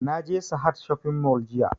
Na je sahad shopping mall jiya